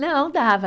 Não, dava.